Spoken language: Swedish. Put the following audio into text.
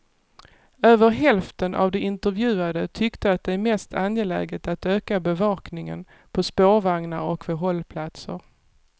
Över hälften av de intervjuade tyckte att det är mest angeläget att öka bevakningen på spårvagnar och vid hållplatser.